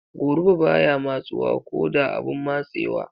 Goruba baya matsuwa ko da abun matsewa.